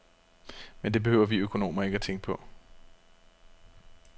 Men det behøver vi økonomer ikke tænke på.